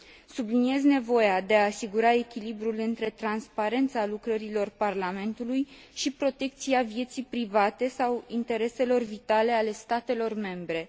Subliniez nevoia de a asigura echilibrul între transparența lucrărilor Parlamentului și protecția vieții private sau a intereselor vitale ale statelor membre.